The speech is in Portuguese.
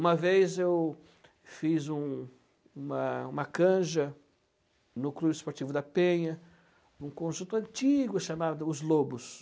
Uma vez eu fiz uma uma canja no clube esportivo da Penha, um conjunto antigo chamado Os Lobos.